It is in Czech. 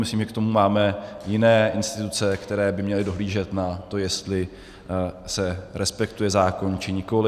Myslím, že k tomu máme jiné instituce, které by měly dohlížet na to, jestli se respektuje zákon, či nikoli.